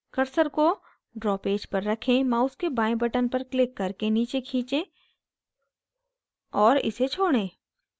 cursor को draw page पर रखें mouse के बाएं button पर click करके नीचे खींचे और इसे छोड़ें